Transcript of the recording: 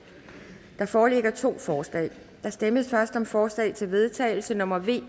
der foreligger to forslag der stemmes først om forslag til vedtagelse nummer v